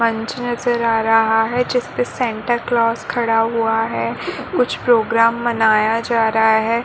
मंच नजर आ रहा है जिसपे सेंटकलोस खड़ा हुआ है। कुछ प्रोग्राम मनाया जा रहा है।